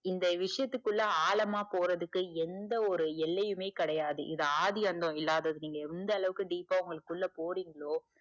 இந்த விஷயத்துக்குள்ள ஆழமா போறதுக்கு எந்த ஒரு எல்லையுமே கிடையாது இது ஆதி அன்னம் இல்லாதது நீங்க எந்த அளவுக்கு deep ஆ உங்களுக்குள்ள போறிங்களோ,